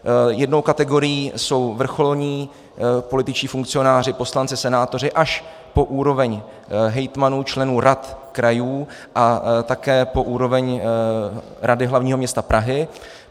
Jednou kategorií jsou vrcholní političtí funkcionáři, poslanci, senátoři, až po úroveň hejtmanů, členů rad krajů a také po úroveň Rady hlavního města Prahy.